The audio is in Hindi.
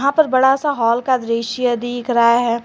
यहां पर बड़ा सा हॉल का दृश्य दिख रहा है।